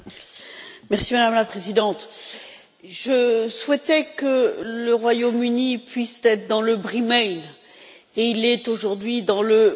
Madame la Présidente, je souhaitais que le Royaume Uni puisse être dans le Bremain et il est aujourd'hui dans le Brexit.